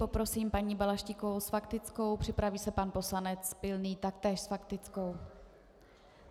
Poprosím paní Balaštíkovou s faktickou, připraví se pan poslanec Pilný taktéž s faktickou.